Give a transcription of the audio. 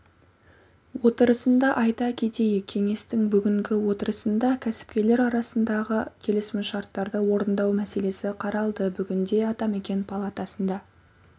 отырысында айта кетейік кеңестің бүгінгі отырысында кәсіпкерлер арасындағы келісімшарттарды орындау мәселесі қаралды бүгінде атамекен палатасына